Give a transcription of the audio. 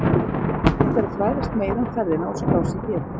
Hægt er að fræðast meira um ferðina og skrá sig hér